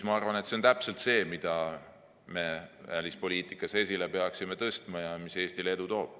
Ma arvan, et see on täpselt see, mida me välispoliitikas esile peaksime tõstma ja mis Eestile edu toob.